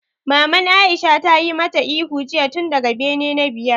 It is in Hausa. Maman Aisha ta yi ma ta ihu jiya tun daga bene na biyar!